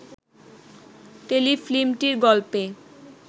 টেলিফিল্মটির গল্পে